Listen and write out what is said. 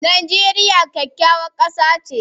Najeriya kyakkyawar kasa ce